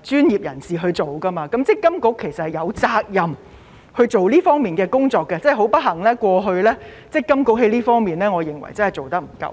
專業人士負責，積金局其實是有責任進行這方面的工作，但不幸地我認為積金局過去在這方面的工作並不足夠。